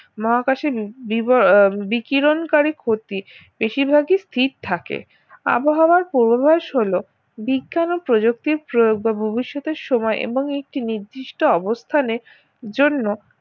মহাকাশের বিবর বিকিরণকারী ক্ষতি বেশিরভাগই স্থির থাকে আবহাওয়ার পূর্বাভাস হল বিজ্ঞান ও প্রযুক্তির প্রয়োগ বা ভবিষ্যতের সময় এবং একটি নির্দিষ্ট অবস্থানের জন্য